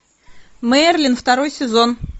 мерлин второй сезон